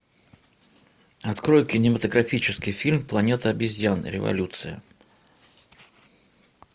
открой кинематографический фильм планета обезьян революция